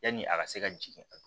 Yanni a ka se ka jigin a